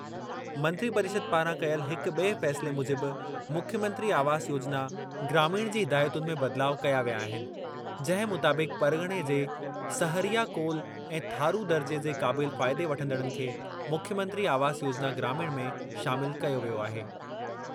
मंत्रिपरिषद पारां कयल हिक बि॒ए फ़ैसिले मूजिबि मुख्यमंत्री आवास योजना ग्रामीण जी हिदायतुनि में बदिलाव कया विया आहिनि, जंहिं मुताबिक़ परग॒णे जे सहरिया कोल ऐं थारू दर्जे जे क़ाबिल फ़ाइदे वठंदड़नि खे मुख्यमंत्री आवास योजना ग्रामीण में शामिल कयो वियो आहे।